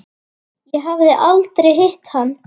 Ég hafði aldrei hitt hann.